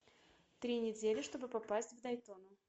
три недели чтобы попасть в дайтону